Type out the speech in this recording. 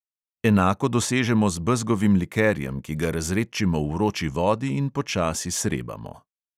Enako dosežemo z bezgovim likerjem, ki ga razredčimo v vroči vodi in počasi srebamo.